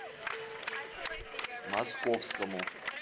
московскому